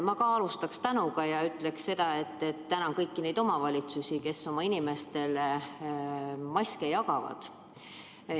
Ma ka alustan tänamisega: ma tänan kõiki neid omavalitsusi, kes oma inimestele maske jagavad.